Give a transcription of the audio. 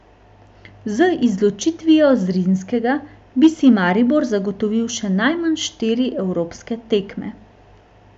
Z izločitvijo Zrinjskega bi si Maribor zagotovil še najmanj štiri evropske tekme.